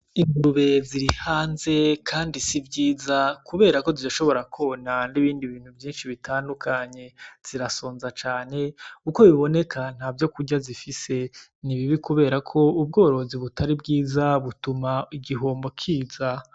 Ingurube ziri hanze kandi si vyiza kubera zishobora kwona n'ibindi bintu vyinshi bitandukanye zirasonza cane, uko biboneka ntavyo kurya bifise ni bibi kubera ko ubworozi butari bwiza butuma igihombo kiza.